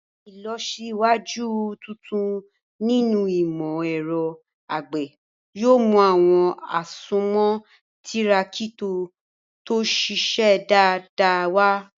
Ìlọsíwájú tuntun nínú ìmọ̀ ẹ̀rọ àgbẹ̀ yóò mú àwọn àsomọ́ Tírákítọ̀ tó ṣiṣẹ́ dáadáa wá.